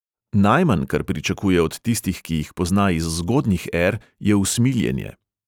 Najmanj, kar pričakuje od tistih, ki jih pozna iz zgodnjih er, je usmiljenje.